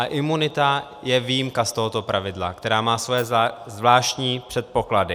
A imunita je výjimka z tohoto pravidla, která má své zvláštní předpoklady.